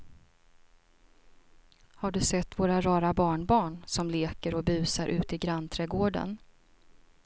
Har du sett våra rara barnbarn som leker och busar ute i grannträdgården!